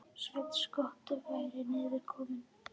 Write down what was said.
Sveinn skotti væri niður kominn.